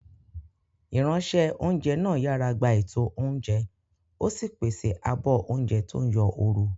Ìránṣẹ́-oúnjẹ náà yàrá gba ètò oúnjẹ, ó sì pèsè àbọ̀ oúnjẹ tó ń yọ ooru.